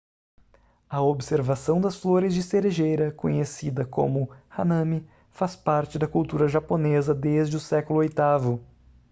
a observação das flores de cerejeira conhecida como hanami faz parte da cultura japonesa desde o século oitavo